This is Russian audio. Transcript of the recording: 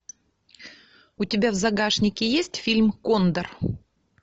у тебя в загашнике есть фильм кондор